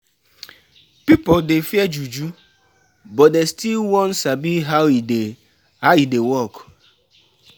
Rumors of juju fit make workplace ten sion high; everybody dey watch each oda.